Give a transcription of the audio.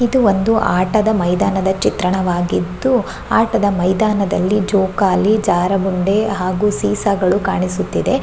ಇದು ಒಂದು ಆಟದ ಮೈದಾನದ ಚಿತ್ರಣವಾಗಿದ್ದು ಆಟದ ಮೈದಾನದಲ್ಲಿ ಜೋಕಾಲಿ ಜಾರಬಂಡಿ ಹಾಗು ಸೀಸಾಗಳು ಕಾಣಿಸುತ್ತಿದೆ.